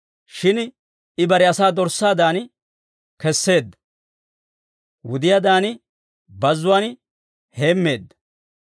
Shin I bare asaa dorssaadan kesseedda; wudiyaadan bazzuwaan heemmeedda.